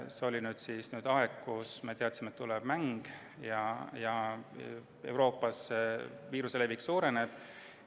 See oli aeg, kui me teadsime, et tuleb mäng ja Euroopas viiruse levik suureneb.